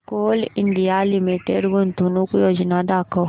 Coal India Limited गुंतवणूक योजना दाखव